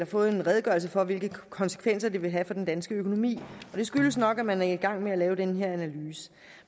fået en redegørelse for hvilke konsekvenser det vil have for den danske økonomi og det skyldes nok at man er i gang med at lave den her analyse